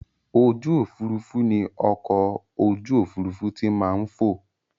Ojú òfurufú ni ọkọ̀ ojú òfurufú ti máa ń fò